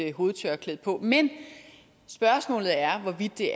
hovedtørklæde på men spørgsmålet er hvorvidt det